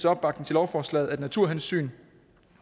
opbakning til lovforslaget at naturhensyn